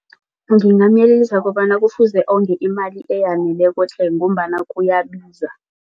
Ngingamyelelisa kobana kufuze onge imali eyaneleko tle ngombana kuyabiza.